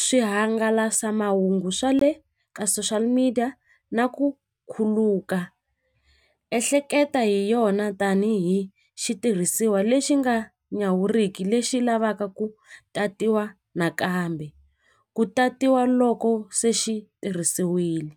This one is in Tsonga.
swihangalasamahungu swa le ka social media na ku khuluka ehleketa hi yona tanihi xitirhisiwa lexi nga nyawuriki lexi lavaka ku tatiwa nakambe ku tatiwa loko se xi tirhisiwile.